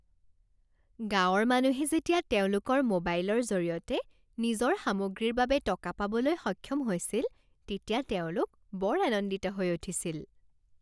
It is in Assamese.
গাঁৱৰ মানুহে যেতিয়া তেওঁলোকৰ মোবাইলৰ জৰিয়তে নিজৰ সামগ্ৰীৰ বাবে টকা পাবলৈ সক্ষম হৈছিল তেতিয়া তেওঁলোক বৰ আনন্দিত হৈ উঠিছিল।